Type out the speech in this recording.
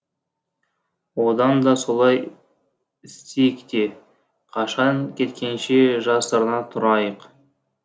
одан да солай істейік те қашан кеткенше жасырына тұрайық